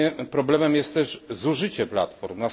Problemem jest też zużycie platform.